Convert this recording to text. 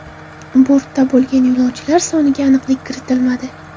Bortda bo‘lgan yo‘lovchilar soniga aniqlik kiritilmadi.